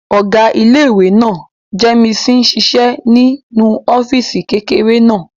Ọ̀gá ilé-ìwé náà, Jémìsì n ṣiṣẹ́ nínú ọ́fìsì kékeré náà